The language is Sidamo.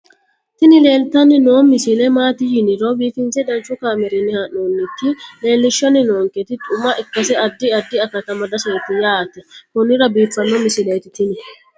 tini leeltanni noo misile maaati yiniro biifinse danchu kaamerinni haa'noonnita leellishshanni nonketi xuma ikkase addi addi akata amadaseeti yaate konnira biiffanno misileeti tini